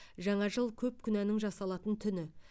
жаңа жыл көп күнәнің жасалатын түні